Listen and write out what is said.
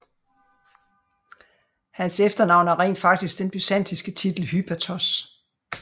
Hans efternavn er rent faktisk den byzantinske titel hypatos